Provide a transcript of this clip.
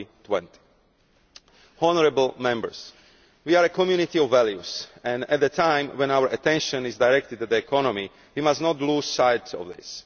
2020. Honourable Members, we are a community of values and at a time when our attention is directed at the economy we must not lose sight of this.